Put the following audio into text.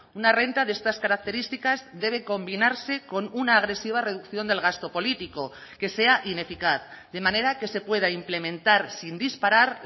una renta de estas características debe combinarse con una agresiva reducción del gasto político que sea ineficaz de manera que se pueda implementar sin disparar